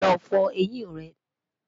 lọ fọ ẹyìn rè